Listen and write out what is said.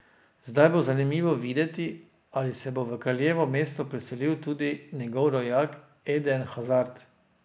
Zdaj bo zanimivo videti, ali se bo v kraljevo mesto preselil tudi njegov rojak Eden Hazard.